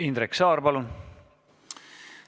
Indrek Saar, palun!